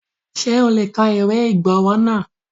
Ṣé o lè kọ ìwé ìgbowó náà?